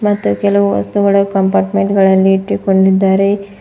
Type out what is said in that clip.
ಮತ್ತು ಕೆಲವು ವಸ್ತುಗಳ ಕಂಪಾರ್ಟ್ಮೆಂಟ್ ಗಳಲ್ಲಿ ಇಟ್ಟುಕೊಂಡಿದ್ದಾರೆ.